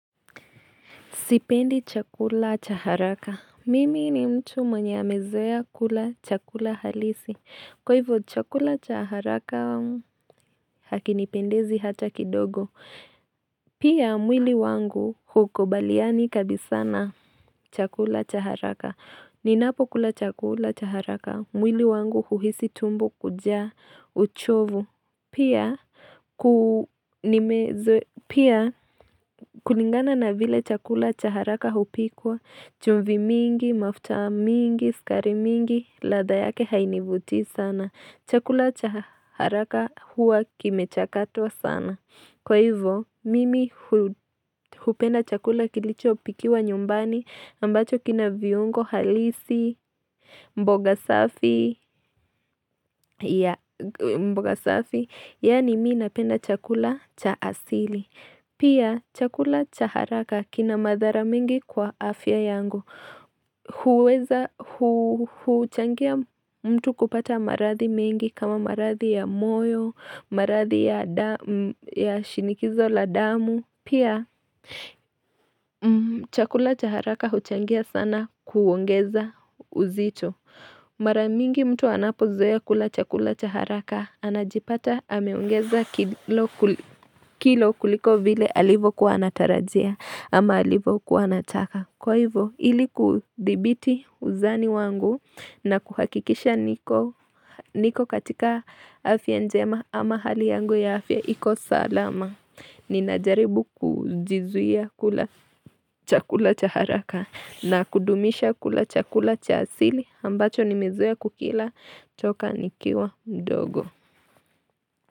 Sipendi chakula chaharaka. Mimi ni mtu mwenye amezoea kula chakula halisi. Kwa hivyo chakula cha haraka hakinipendezi hata kidogo. Pia mwili wangu hukubaliani kabisa na chakula cha haraka. Ninapo kula chakula cha haraka. Mwili wangu huhisi tumbo kujaa uchovu. Pia, ku nimezoe pia, kulingana na vile chakula chaharaka hupikwa. Chumvi mingi, mafuta mingi, sukari mingi, ladha yake hainivutii sana. Chakula cha haraka huwa kimechakatwa sana. Kwa hivyo, mimi hu hupenda chakula kilicho pikiwa nyumbani ambacho kina viungo halisi, mboga mboga safi, yani mina penda chakula cha asili. Pia, chakula cha haraka kina madhara mingi kwa afya yangu. Huweza hu huchangia mtu kupata maradhi mingi kama maradhi ya moyo, maradhi ya da shinikizo la damu. Pia, chakula chaharaka huchangia sana kuongeza uzito Mara mingi mtu anapo zoe kula chakula cha haraka, anajipata ameongeza kilo kuliko vile alivo kuwa anatarajia ama alivo kuwa anataka. Kwa hivyo, ili kudhibiti uzani wangu na kuhakikisha niko katika afya njema ama hali yangu ya afya iko salama. Ninajaribu kujizuia kula chakula cha haraka na kudumisha kula chakula cha asili ambacho nimezoea kukila toka nikiwa mdogo.